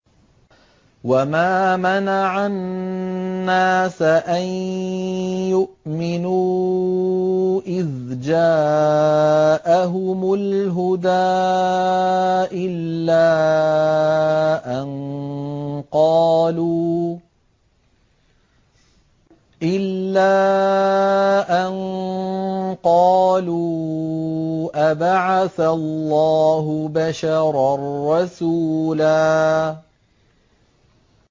وَمَا مَنَعَ النَّاسَ أَن يُؤْمِنُوا إِذْ جَاءَهُمُ الْهُدَىٰ إِلَّا أَن قَالُوا أَبَعَثَ اللَّهُ بَشَرًا رَّسُولًا